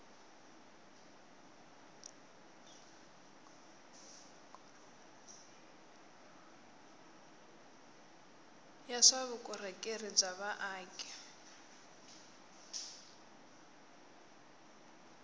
ya swa vukorhokeri bya vaaki